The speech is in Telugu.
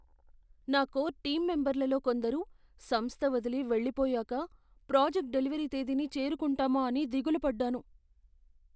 నా కోర్ టీమ్ మెంబర్లలో కొందరు సంస్థ వదిలి వెళ్ళిపోయాక ప్రాజెక్ట్ డెలివరీ తేదీని చేరుకుంటామా అని దిగులు పడ్డాను.